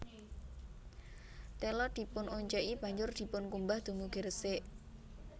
Tela dipunonceki banjur dipunkumbah dumugi resik